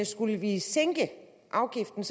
skulle vi sænke afgiften